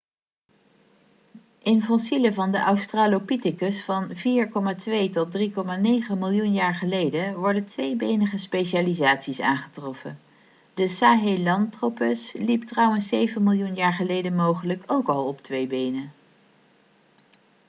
in fossielen van de australopithecus van 4,2-3,9 miljoen jaar geleden worden tweebenige specialisaties aangetroffen. de sahelanthropus liep trouwens zeven miljoen jaar geleden mogelijk ook al op twee benen